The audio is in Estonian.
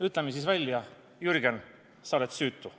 Ütleme siis välja: Jürgen, sa oled süütu!